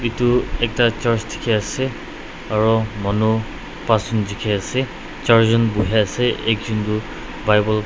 etu ekta church dikhi ase aru manu pasjun dikhi ase charjun buhi ase ekjun toh bible --